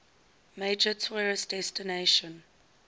major tourist destination